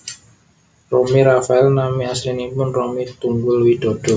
Romy Rafael nami aslinipun Romy Tunggul Widodo